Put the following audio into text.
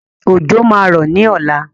Òjò máa rọ̀ ní ọ̀la.